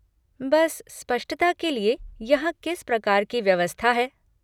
बस स्पष्टता के लिए कि यहाँ किस प्रकार की व्यवस्था है।